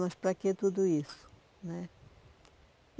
Mas para que tudo isso né?